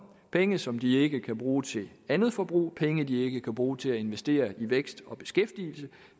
penge som de ikke kan bruge til andet forbrug penge de ikke kan bruge til at investere i vækst og beskæftigelse